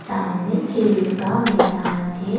सामने खेल का मैदान है ।